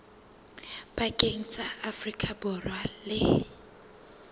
pakeng tsa afrika borwa le